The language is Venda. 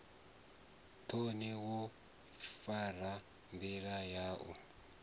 thoni wo fara ndila yau